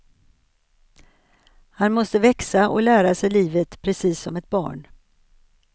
Han måste växa och lära sig livet precis som ett barn.